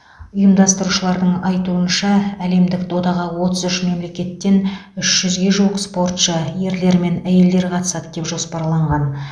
ұйымдастырушыларың айтуынша әлемдік додаға отыз үш мемлекеттен үш жүзге жуық спортшы ерлер мен әйелдер қатысады деп жоспарланған